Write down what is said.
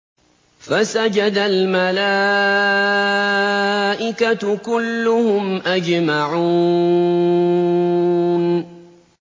فَسَجَدَ الْمَلَائِكَةُ كُلُّهُمْ أَجْمَعُونَ